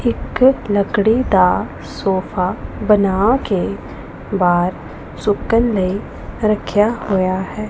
ਇਕ ਲਕੜੀ ਦਾ ਸੋਫਾ ਬਣਾ ਕੇ ਬਾਹਰ ਸੁਕਣ ਲਈ ਰੱਖਿਆ ਹੋਇਆ ਹੈ।